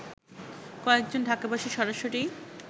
কয়েকজন ঢাকাবাসী সরাসরি